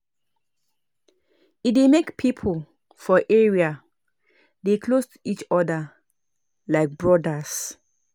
E dey make pipo for area dey close to each other like brodas